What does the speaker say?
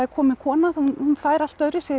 komin kona hún fær allt öðruvísi